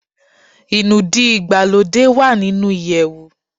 Inúdí ìgbàlódé wá nínú iyewu